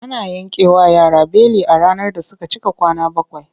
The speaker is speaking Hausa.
Ana yankewa yara beli a ranar da suka cika kwana bakwai.